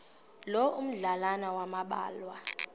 loo madlalana ambalwa